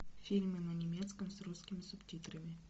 фильмы на немецком с русскими субтитрами